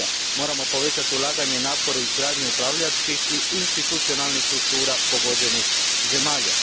Moramo povećati ulaganje i napore u izgradnju upravljačkih i institucionalnih struktura pogođenih zemalja.